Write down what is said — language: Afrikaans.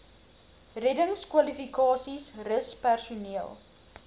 reddingskwalifikasies rus personeel